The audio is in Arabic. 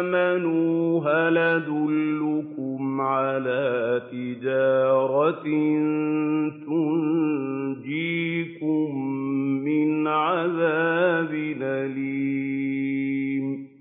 آمَنُوا هَلْ أَدُلُّكُمْ عَلَىٰ تِجَارَةٍ تُنجِيكُم مِّنْ عَذَابٍ أَلِيمٍ